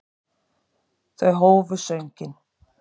Þau hófu sönginn.